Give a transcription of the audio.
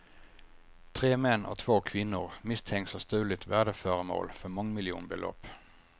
Tre män och två kvinnor misstänks ha stulit värdeföremål för mångmiljonbelopp.